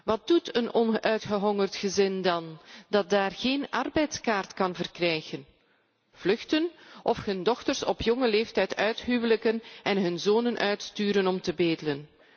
Wat doet dan een uitgehongerd gezin dat daar geen arbeidskaart kan verkrijgen? Vluchten, of hun dochters op jonge leeftijd uithuwelijken en hun zonen uitsturen om te bedelen.